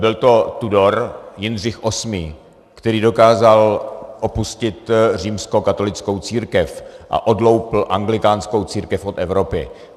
Byl to Tudor Jindřich VIII., který dokázal opustit římskokatolickou církev a odloupl anglikánskou církev od Evropy.